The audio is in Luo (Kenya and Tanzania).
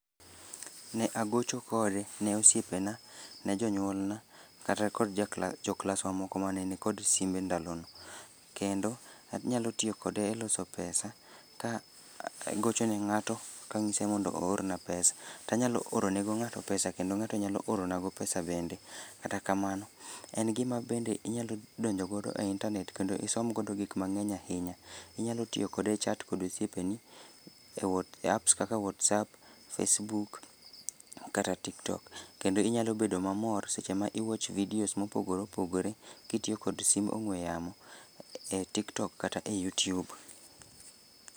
Ne agocho kode, ne osiepena, ne jonyuolna, kata kod jaklaswa joklaswa moko mane nikod sime ndalono. Kendo, anyalo tiyo kode e loso pesa ka agocho ne ng'ato, ka ang'ise mondo oorna pesa. Tanyalo orone go ng'ato pesa kendo ng'ato nyalo oro nago pesa bende. Kata kamano, en gima bende inyalo donjo godo e internet kendo isom godo gik mang'eny ahinya. Inyalo tiyo kode e chat kod osiepeni, e e apps kaka WhatsApp, Facebook kata TikTok kendo inyalo bedo mamor seche ma i watch videos ma opogore opogore kitiyo kod sim ong'we yamo e TikTok kata e YouTube